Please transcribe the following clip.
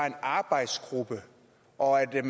en arbejdsgruppe og at